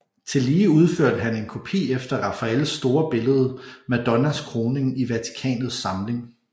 Tillige udførte han en kopi efter Rafaels store billede Madonnas Kroning i Vatikanets samling